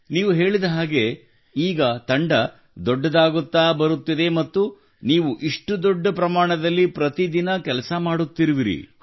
ನೀವು ಹೇಳಿದ ಹಾಗೆ ಈಗ ತಂಡ ದೊಡ್ಡದಾಗುತ್ತಾ ಬರುತ್ತಿದೆ ಮತ್ತು ನೀವು ಇಷ್ಟು ದೊಡ್ಡ ಪ್ರಮಾಣದಲ್ಲಿ ಪ್ರತಿದಿನ ಕೆಲಸ ಮಾಡುತ್ತಿರುವಿರಿ